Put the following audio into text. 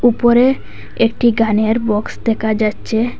উপরে একটি গানের বক্স দেকা যাচ্চে ।